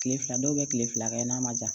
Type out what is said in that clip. Kile fila dɔw be kile fila kɛ n'a ma ja